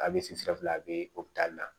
A bɛ sigi sira fila bɛ na